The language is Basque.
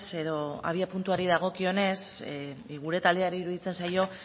edo abiapuntuari dagokionez gure taldeari iruditzen zaio